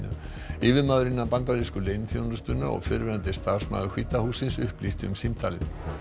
yfirmaður innan bandarísku leyniþjónustunnar og fyrrverandi starfsmaður hvíta hússins upplýsti um símtalið